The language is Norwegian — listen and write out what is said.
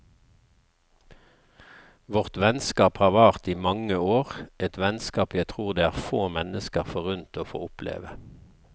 Vårt vennskap har vart i mange år, et vennskap jeg tror det er få mennesker forunt å få oppleve.